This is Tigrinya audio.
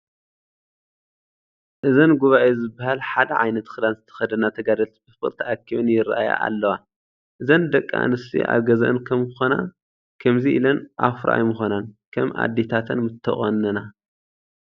እዘን ጉባኤ ዝበሃል ሓደ ዓይነት ክዳን ዝተኸደና ተጋደልቲ ብፍቕሪ ተኣኪበር ይርአያ ኣለዋ፡፡ እዘን ደቂ ኣንስትዮ ኣብ ገዝአን ከምኮና ከምዚ ኢለን ኣፍሮ ኣይምኾናን፡፡ ከም ኣዴታተን ምተቖነና፡፡